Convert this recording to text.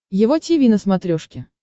его тиви на смотрешке